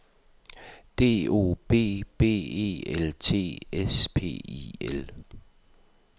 D O B B E L T S P I L